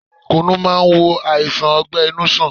Kùnu máa ń wo àìsàn ọgbẹ-inú sàn.